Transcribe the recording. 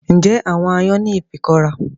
Ǹjẹ́ àwọn aáyán ní ìfikọ́ra